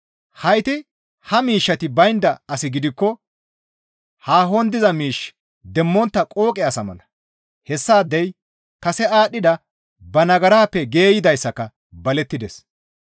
Hayti ha miishshati baynda asi gidikko haahon diza miish demmontta qooqe asa mala; hessaadey kase aadhdhida ba nagarappe geeyidayssaka balettides.